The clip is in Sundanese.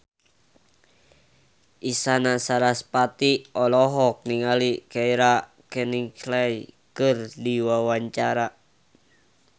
Isyana Sarasvati olohok ningali Keira Knightley keur diwawancara